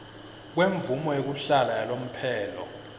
kwemvumo yekuhlala yalomphelo